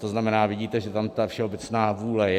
To znamená, vidíte, že tam ta všeobecná vůle je.